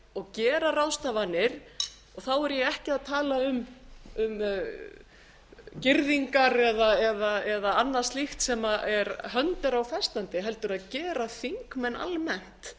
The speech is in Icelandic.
og gera ráðstafanir og þá er ég ekki að tala um girðingar eða annað slíkt sem hönd er á festandi heldur að gera þingmenn almennt